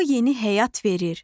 O yeni həyat verir.